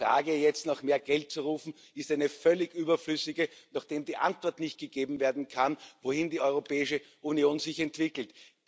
Also die Frage, jetzt nach mehr Geld zu rufen, ist eine völlig überflüssige, nachdem die Antwort nicht gegeben werden kann, wohin sich die Europäische Union entwickelt.